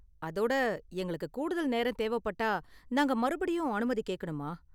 அதோட, எங்களுக்கு கூடுதல் நேரம் தேவைப்பட்டா நாங்க மறுபடியும் அனுமதி கேக்கணுமா?